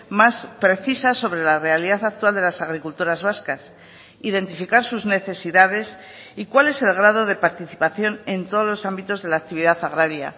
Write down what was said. más precisa sobre la realidad actual de las agricultoras vascas identificar sus necesidades y cuál es el grado de participación en todos los ámbitos de la actividad agraria